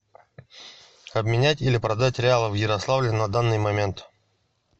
обменять или продать реалы в ярославле на данный момент